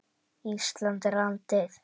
Ísland er landið.